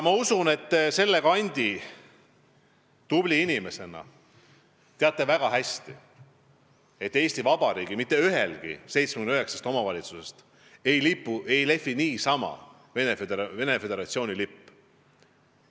Ma usun, et te selle kandi tubli inimesena teate väga hästi, et Eesti Vabariigis mitte ühelgi 79 omavalitsusest ei lehvi niisama Venemaa Föderatsiooni lipp.